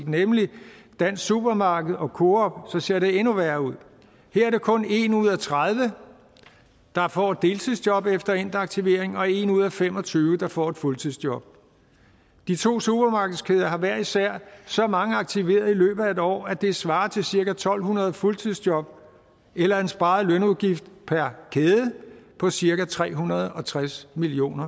nemlig dansk supermarked og coop så ser det endnu værre ud her er det kun en ud af tredive der får et deltidsjob efter endt aktivering og en ud af fem og tyve der får et fuldtidsjob de to supermarkedskæder har hver især så mange aktiverede i løbet af et år at det svarer til cirka to hundrede fuldtidsjob eller en sparet lønudgift per kæde på cirka tre hundrede og tres million